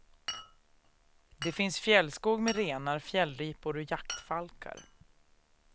Det finns fjällskog med renar, fjällripor och jaktfalkar.